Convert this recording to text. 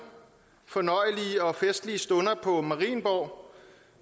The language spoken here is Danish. fornøjelige og festlige stunder på marienborg